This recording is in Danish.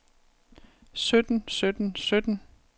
sytten sytten sytten